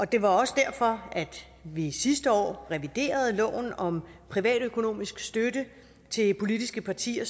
det var også derfor at vi sidste år reviderede loven om privatøkonomisk støtte til politiske partier